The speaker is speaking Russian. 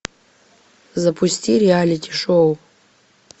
запусти реалити шоу